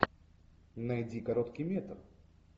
найди короткий метр